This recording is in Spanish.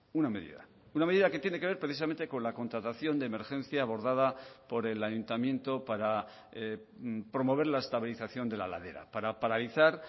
una medida una medida que tiene que ver precisamente con la contratación de emergencia abordada por el ayuntamiento para promover la estabilización de la ladera para paralizar